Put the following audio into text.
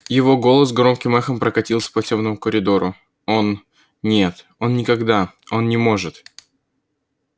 его голос громким эхом прокатился по тёмному коридору он нет он никогда он не может